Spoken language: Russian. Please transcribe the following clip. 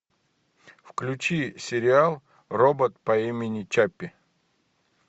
включи сериал робот по имени чаппи